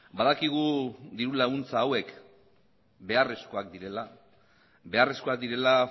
badakigu diru laguntza hauek beharrezkoak direla beharrezkoak direla